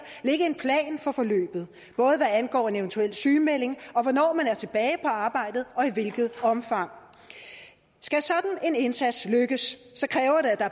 ligge en plan for forløbet både hvad angår en eventuel sygemelding og hvornår man er tilbage på arbejdet og i hvilket omfang skal sådan en indsats lykkes